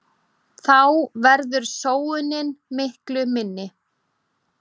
Þá verður sóunin miklu minni.